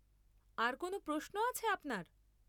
আর কোনো প্রশ্ন আছে আপনার?